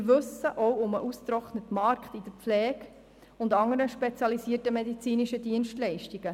Wir wissen auch um den ausgetrockneten Arbeitsmarkt im Bereich der Pflege und bei anderen spezialisierten medizinischen Dienstleistungen.